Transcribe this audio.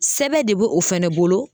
Sɛbɛn de bɛ o fɛnɛ bolo